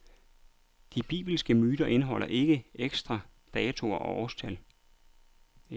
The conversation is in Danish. De bibelske myter indeholder ikke eksakte datoer og årstal.